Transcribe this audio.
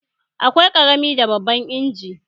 Akwai ƙarami da babban inji